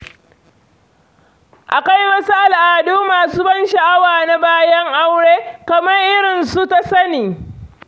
Akwai wasu al'adu masu ban sha'awa na bayan aure, kamar irin su "tasani".